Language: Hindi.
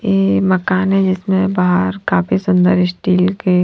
ये मकान है जिसमें बाहर काफी सुंदर स्टील के--